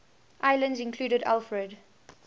islands included alfred